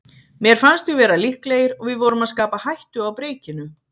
Mér fannst við vera líklegir og við vorum að skapa hættu á breikinu.